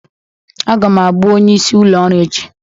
Aga m abụ onyeisi ụlọ ọrụ echi